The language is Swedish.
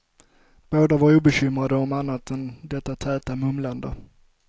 Båda var obekymrade om annat än detta täta mumlande.